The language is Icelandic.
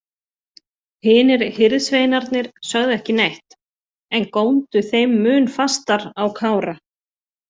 Hinir hirðsveinarnir sögðu ekki neitt en góndu þeim mun fastar á Kára.